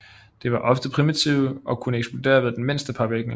De var ofte primitive og kunne eksplodere ved den mindste påvirkning